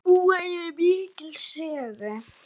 Þær búa yfir mikilli sögu.